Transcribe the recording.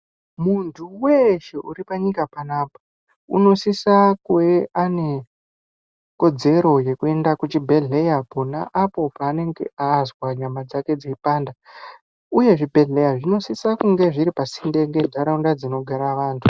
Muntu weshe uripanyika panapa unosisa kuwe ane kodzero yekuenda kuchibhedhleya pona apo paanenge azwa nyama dzake dzeipanda uye zvibhedhleya zvinosisa kunge zviri pasinde nenharaunda dzinogara vantu.